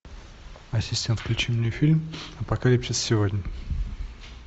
ассистент включи мне фильм апокалипсис сегодня